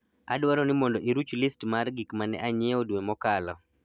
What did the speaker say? adwaro ni mondo iruch list mar gik ma ne anyiewo dwe mokalo